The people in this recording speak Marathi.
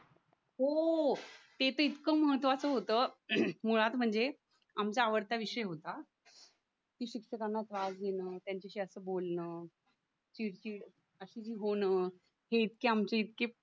हो ते तर इतकं महत्त्वाचं होतं हम्म मुळात म्हणजे आमचा आवडता विषय होता कि शिक्षकांना त्रास देणे त्यांच्याशी असं बोलणं चिडचिड असे जे होणं हे इतके आमचे इतके